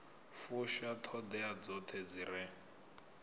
fusha ṱhoḓea dzoṱhe dzi re